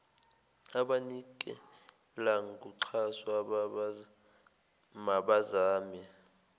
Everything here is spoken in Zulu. abanikela ngoxhaso mabazame